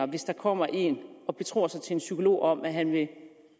hvis der kommer en og betror sig til en psykolog om at han vil